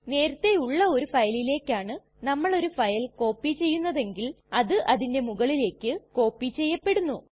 നേരത്തെ ഉള്ള ഒരു ഫയലിലെക്കാണ് നമ്മൾ ഒരു ഫയൽ കോപ്പി ചെയ്യുന്നതെങ്കിൽ അത് അതിന്റെ മുകളിലേക്ക് കോപ്പി ചെയ്യപ്പെടുന്നു